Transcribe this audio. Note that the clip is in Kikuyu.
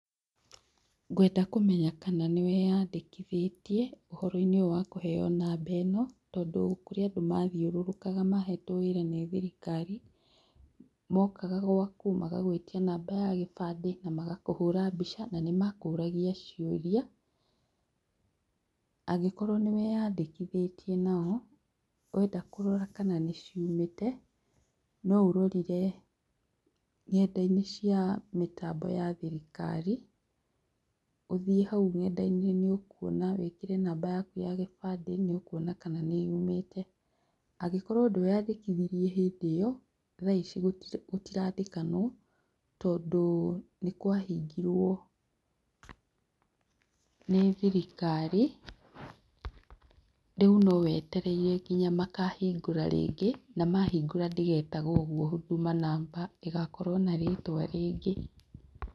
Ngwenda kũmenya kana nĩ wĩyandĩkithĩtie ũhoro-inĩ ũyũ wa kũheo namba ĩno tondũ kũrĩ andũ mathiũrũrũkaga mahetwo wĩra nĩ thirikari mokaga gwaku magagwĩtia namba ya kĩbandĩ namagakũhũra mbica na nĩ makũragia mbica, angĩkorwo nĩ wĩyandĩkithĩtie nao wenda kũrora kana nĩ ciumĩte no ũrorire nenda-inĩ cia mĩtambo ya thirikari ũthiĩ hau nenda-inĩ nĩ kwona wĩkĩre namba yaku ya kĩbandĩ nĩ ũkwona kana nĩ yumĩte, angĩkorwo ndweyandĩkithirie hĩndĩ ĩyo thaa ici gũtirandĩkanwo tondũ nĩ kwa hingirwo, nĩ thirikari rĩu no wetereire nginya makahingũra rĩngĩ na mahingũra ndĩgetagwo ũguo Huduma Number, ĩgakorwo na rĩtwa rĩngĩ.